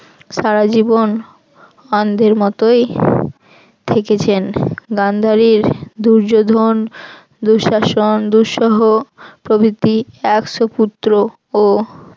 সারাজীবন অন্ধের মতই থেকেছেন গান্ধারীর দুর্যোধন দুঃশাসন দুঃসহ প্রবৃত্তি একশো পুত্র ও